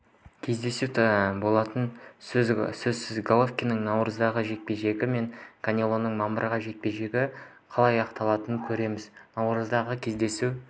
кездесу болатыны сөзсіз головкиннің наурыздағы жекпе-жегі мен канелоның мамырдағы жекпе-жегі қалай аяқталатынын көреміз наурыздағы кездесу